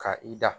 Ka i da